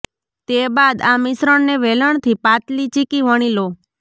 તે બાદ આ મિશ્રણને વેલણથી પાતલી ચીકી વણી લો